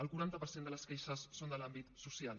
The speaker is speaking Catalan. el quaranta per cent de les queixes són de l’àmbit social